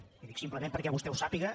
li ho dic simplement perquè vostè ho sàpiga